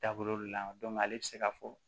Da bolo le la ale bɛ se ka fɔ